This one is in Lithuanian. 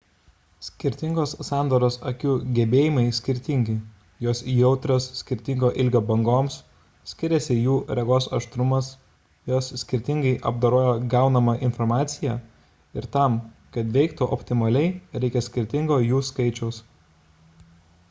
skirtingos sandaros akių gebėjimai skirtingi jos jautrios skirtingo ilgio bangoms skiriasi jų regos aštrumas jos skirtingai apdoroja gaunamą informaciją ir tam kad veiktų optimaliai reikia skirtingo jų skaičiaus